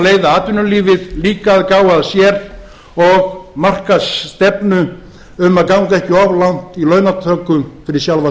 leiða atvinnulífið líka að gá að sér og marka stefnu um að ganga ekki of langt í launatöku fyrir sjálfa